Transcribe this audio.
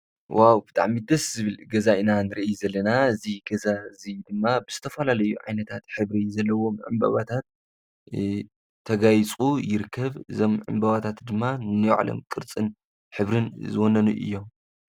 ዋ ብጣዕ ሚደስ ዝብል ገዛኢና ንርይ ዘለና እዝ ገዛ እዙይ ድማ ብስተፋላለዩ ዓይነታት ኅብር ዘለዎ ምዕምበባታት ተጋይጹ ይርከብ ዘምዕምበባታት ድማ ነዮዕለም ቅርጽን ኅብርን ዝወነኑ እዮም።